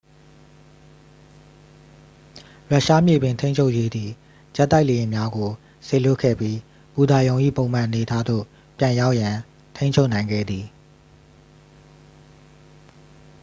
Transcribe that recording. ရုရှားမြေပြင်ထိန်းချုပ်ရေးသည် ဂျက်တိုက်လေယာဉ်များကို စေလွတ်ခဲ့ပြီး ဘူတာရုံ၏ ပုံမှန်အနေအထားသို့ ပြန်ရောက်ရန် ထိန်းချုပ်နိုင်ခဲ့သည်